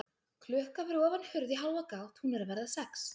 Klukka fyrir ofan hurð í hálfa gátt, hún er að verða sex.